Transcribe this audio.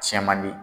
Cɛn man di